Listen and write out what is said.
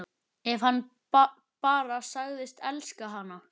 Ef hann bara segðist elska hana: